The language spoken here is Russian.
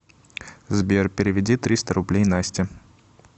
сбер переведи триста рублей насте